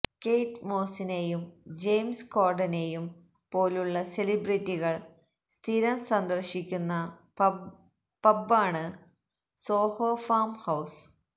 Kate മോസിനെയും James കോർഡനെയും പോലുള്ള സെലിബ്രിറ്റികൾ സ്ഥിരം സന്ദർശിക്കുന് പബ്ബാണ് സോഹോ ഫാം ഹൌസ്